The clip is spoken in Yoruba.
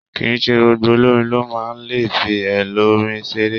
Kìíse gbogbo olorin lo máa n le fi èlò orin seré.